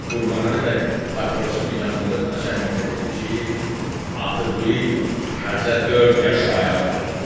Qurbanəli bəy papirosunu yandırıb naçalnikə dedi ki, atı bu il təzə dörd yaşa ayaq vurur.